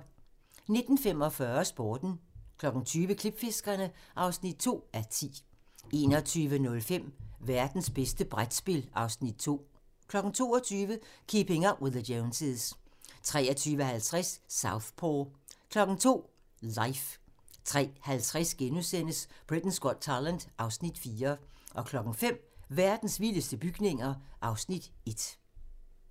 19:45: Sporten 20:00: Klipfiskerne (2:10) 21:05: Værtens bedste brætspil (Afs. 2) 22:00: Keeping Up with the Joneses 23:50: Southpaw 02:00: Life 03:50: Britain's Got Talent (Afs. 4)* 05:00: Verdens vildeste bygninger (Afs. 1)